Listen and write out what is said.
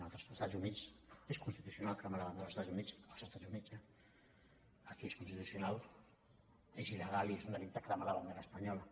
als estats units és constitucional cremar la bandera dels estats units als estats units eh aquí és inconstitucional és il·legal i és un delicte cremar la bandera espanyola